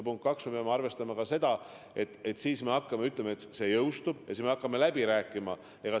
Punkt kaks: me peame arvestama ka seda, et kui see jõustub, siis me hakkame läbi rääkima.